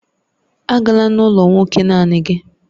Agala n'ụlọ nwoke naanị gị!